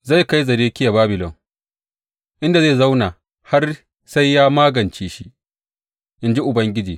Zai kai Zedekiya Babilon, inda zai zauna har sai ya magance shi, in ji Ubangiji.